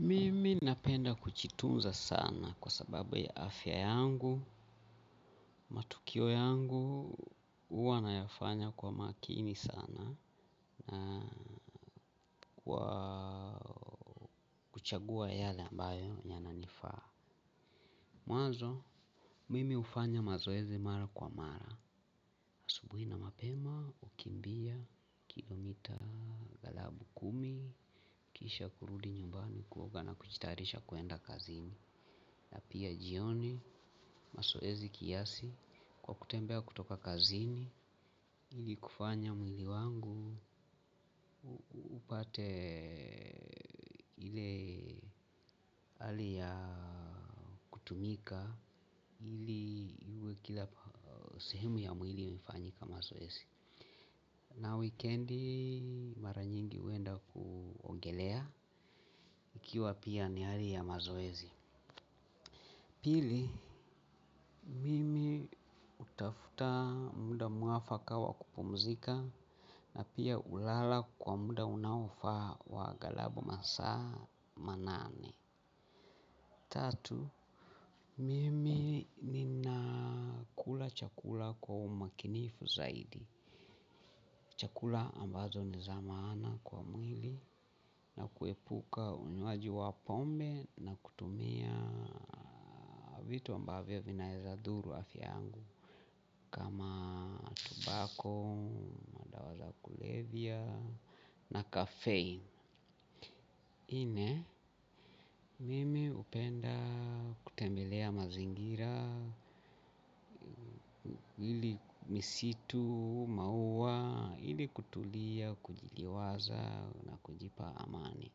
Mimi napenda kujitunza sana kwa sababu ya afya yangu, matukio yangu, huwa nayafanya kwa makini sana na kwa kuchagua yale ambayo ya nanifaa. Mwanzo, mimi hufanya mazoezi mara kwa mara. Asubuhi na mapema, hukimbia, kilomita, galabu kumi, kisha kurudi nyumbani kuoga na kujitayarisha kuenda kazini. Na pia jioni mazoezi kiasi kwa kutembea kutoka kazini ili kufanya mwili wangu upate ile hali ya kutumika, ili uwe kila sehemu ya mwili imefanyika mazoezi. Na weekendi maranyingi huenda kuongelea, ikiwa pia ni hali ya mazoezi. Pili, mimi hutafuta muda mwafaka wa kupumzika na pia hulala kwa muda unaofaa wa galabu masaa manane. Tatu, mimi nina kula chakula kwa umakinifu zaidi. Chakula ambazo ni za maana kwa mwili na kuepuka unywaji wa pombe na kutumia vitu ambavyo vinaweza dhuru afya yangu kama tobacco, madawa za kulevya na caffeine nne, mimi hupenda kutembelea mazingira hili misitu, maua, ili kutulia, kujiliwaza na kujipa amani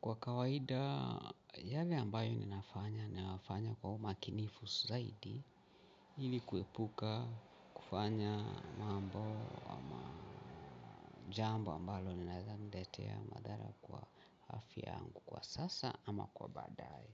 kwa kawaida, yale ambayo ninafanya, nayafanya kwa umakinifu zaidi ili kuepuka kufanya mambo jambo ambalo linaweza niletea ya madhara kwa afya yangu kwa sasa ama kwa baadae.